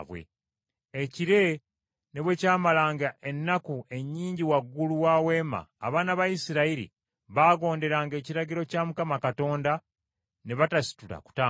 Ekire ne bwe kyamalanga ennaku ennyingi waggulu wa Weema, abaana ba Isirayiri baagonderanga ekiragiro kya Mukama Katonda ne batasitula kutambula.